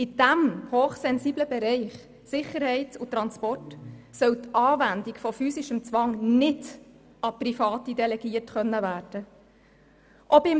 In dem hochsensiblen Bereich Sicherheit und Transport soll die Anwendung von physischem Zwang nicht an Private delegiert werden können.